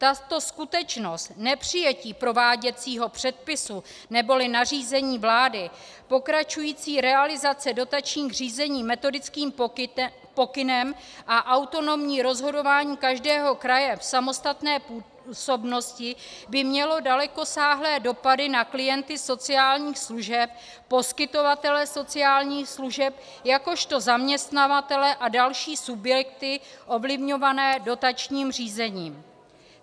Tato skutečnost nepřijetí prováděcího předpisu neboli nařízení vlády, pokračující realizace dotačních řízení metodickým pokynem a autonomní rozhodování každého kraje v samostatné působnosti by mělo dalekosáhlé dopady na klienty sociálních služeb, poskytovatele sociálních služeb jakožto zaměstnavatele a další subjekty ovlivňované dotačním řízením.